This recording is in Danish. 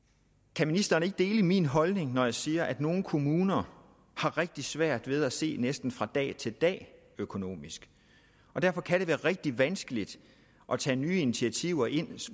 kan ministeren ikke dele min holdning når jeg siger at nogle kommuner har rigtig svært ved at se næsten fra dag til dag økonomisk derfor kan det være rigtig vanskeligt at tage nye initiativer ind